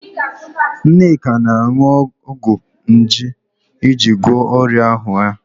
Nneka na-aṅụ ọgwụ nje iji gwọọ ọrịa ahụ ya.